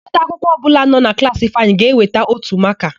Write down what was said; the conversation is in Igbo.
Nwata akwụkwọ ọbụla nọ na klaasị Ifeanyị ga-eweta ótù makaa.